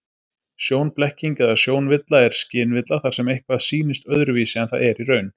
Sjónblekking eða sjónvilla er skynvilla þar sem eitthvað sýnist öðruvísi en það er í raun.